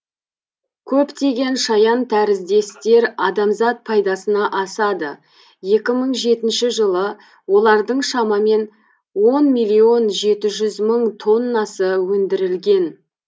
көптеген шаянтәріздестер адамзат пайдасына асады екі мың жетінші жылы олардың шамамен он миллион жеті жүз мың тоннасы өндірілген